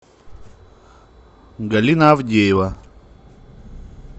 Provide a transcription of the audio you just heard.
галина авдеева